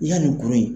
Yanni kuru in